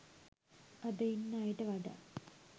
අද ඉන්න අයට වඩා